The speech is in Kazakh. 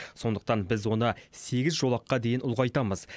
сондықтан біз оны сегіз жолаққа дейін ұлғайтамыз